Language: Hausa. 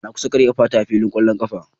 Na kusa karya kafata a filin kwallon kafa.